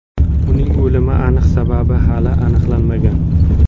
Uning o‘limi aniq sababi hali aniqlanmagan.